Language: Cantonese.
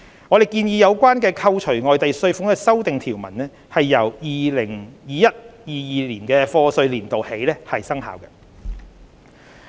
我們建議有關扣除外地稅款的修訂條文由 2021-2022 課稅年度起生效。